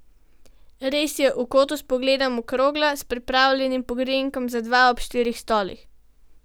Res je, v kotu, s pogledom, okrogla, s pripravljenim pogrinjkom za dva ob štirih stolih.